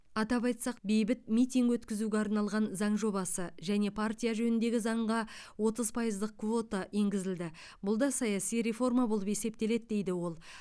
атап айтсақ бейбіт митинг өткізуге арналған заң жобасы және партия жөніндегі заңға отыз пайыздық квота енгізілді бұл да саяси реформа болып есептеледі дейді ол